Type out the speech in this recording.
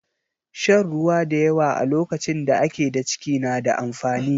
Shan ruwa da yawa a lokacin da ake da ciki na da amfani.